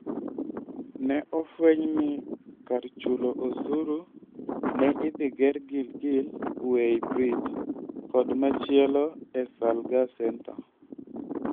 Ne ofweny ni kar chulo osuru ne idhi ger Gilgil Weigh Bridge kod machielo e Salgaa centre.